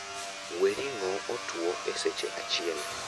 wee ring'o otwo e seche achiel